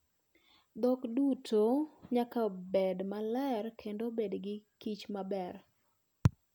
Dhok duto nyaka bed maler kendo obed gikichmaber.